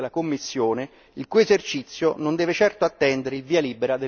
il cui esercizio non deve certo attendere il via libera del Consiglio europeo.